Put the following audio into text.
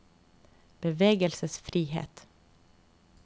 bevegelsesfrihet